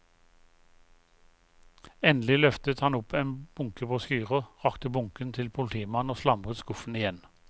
Endelig løftet han opp en bunke brosjyrer, rakte bunken til politimannen og slamret skuffen igjen.